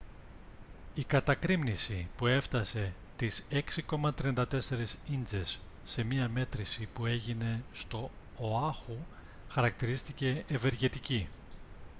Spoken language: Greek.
η κατακρήμνιση που έφτασε τις 6,34 ίντσες σε μια μέτρηση που έγινε στο οάχου χαρακτηρίστηκε «ευεργετική»